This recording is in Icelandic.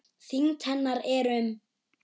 Þyngd hennar er um